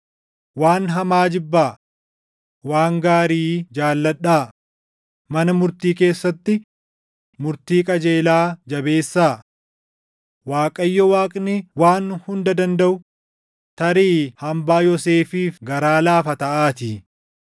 Waan hamaa jibbaa; waan gaarii jaalladhaa; mana murtii keessatti murtii qajeelaa jabeessaa; Waaqayyo Waaqni Waan Hunda Dandaʼu tarii hambaa Yoosefiif garaa laafa taʼaatii.